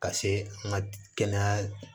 Ka se an ka kɛnɛya